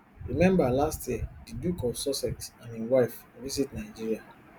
remember last year di duke of sussex and im wife visit nigeria